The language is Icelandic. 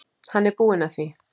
Hann er búinn að því.